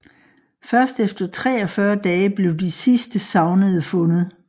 Først efter 43 dage blev de sidste savnede fundet